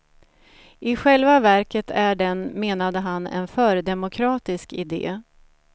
I själva verket är den, menade han, en fördemokratisk idé.